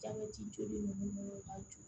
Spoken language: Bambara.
Jabɛti jɔlen b'u bolo ka jɔ